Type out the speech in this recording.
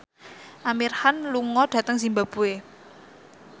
Amir Khan lunga dhateng zimbabwe